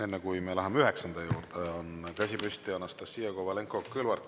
Enne kui me läheme üheksanda juurde, on käsi püsti Anastassia Kovalenko-Kõlvartil.